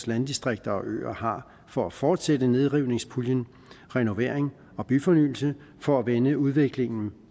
landdistrikter og øer har for at fortsætte nedrivningspuljen renovering og byfornyelse for at vende udviklingen